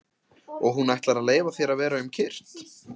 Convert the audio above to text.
Og hún ætlar að leyfa þér að vera um kyrrt?